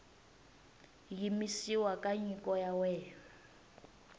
yimisiwa ka nyiko ya wena